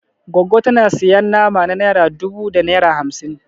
Goggo tana sayan nama na naira dubu da naira hamsin